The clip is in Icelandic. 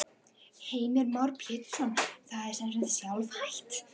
Heimir Már Pétursson: Það er sem sagt sjálfhætt?